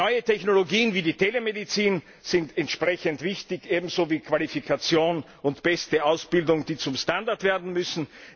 Neue Technologien wie die Telemedizin sind entsprechend wichtig, ebenso wie Qualifikation und beste Ausbildung, die zum Standard werden müssen.